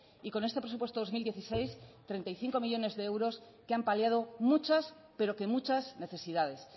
y con este presupuesto dos mil dieciséis treinta y cinco millónes de euros que han paliado muchas pero que muchas necesidades